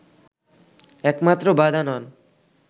একমাত্র বাধা নন”